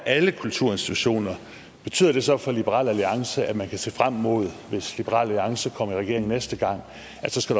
alle kulturinstitutioner her betyder det så for liberal alliance at man kan se frem imod at hvis liberal alliance kommer i regering næste gang